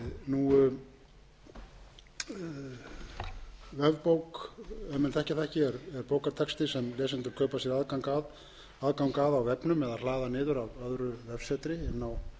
þekkja það ekki er bókartexti sem lesendur kaupa sér aðgang að á vefnum eða hlaða niður af öðru vefsetri inn á tölvuna sína